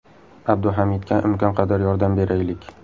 Abduhamidga imkon qadar yordam beraylik!